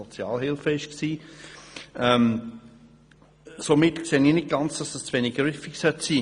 Somit sehe ich nicht, dass dies zu wenig griffig sein soll.